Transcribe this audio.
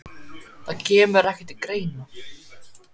Það kemur ekki til greina